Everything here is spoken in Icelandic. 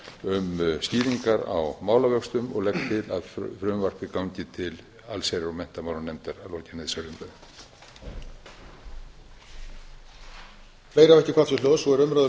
um skýringar á málavöxtum og legg til að frumvarpið gangi til allsherjar og menntamálanefndar að lokinni þessari umræðu